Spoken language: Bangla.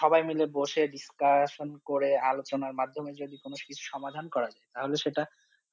সবাই মিলে বসে discussion করে আলোচনার মাধ্যমে যদি কোনো কিছুর সমাধান করা যায় তাহলে সেটা